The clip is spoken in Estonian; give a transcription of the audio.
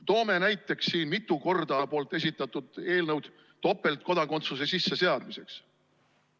Toome näiteks siin mitu korda esitatud eelnõud topeltkodakondsuse sisseseadmiseks.